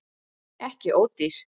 Ekki ódýr